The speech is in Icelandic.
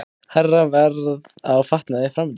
Hærra verð á fatnaði framundan